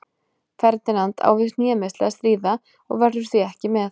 Ferdinand á við hnémeiðsli að stríða og verður því ekki með.